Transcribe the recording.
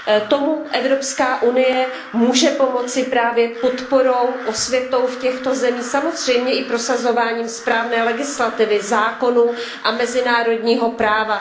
Tomu Evropská unie může pomoci právě podporou, osvětou v těchto zemích, samozřejmě i prosazováním správné legislativy, zákonů a mezinárodního práva.